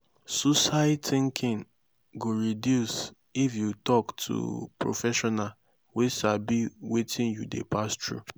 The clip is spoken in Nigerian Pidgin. suicide tinking go reduce if yu tok to professional wey sabi wetin yu dey pass thru